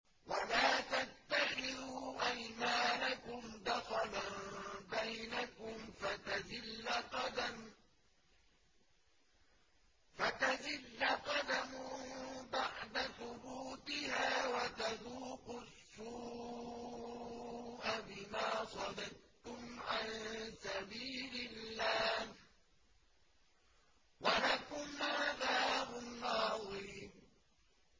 وَلَا تَتَّخِذُوا أَيْمَانَكُمْ دَخَلًا بَيْنَكُمْ فَتَزِلَّ قَدَمٌ بَعْدَ ثُبُوتِهَا وَتَذُوقُوا السُّوءَ بِمَا صَدَدتُّمْ عَن سَبِيلِ اللَّهِ ۖ وَلَكُمْ عَذَابٌ عَظِيمٌ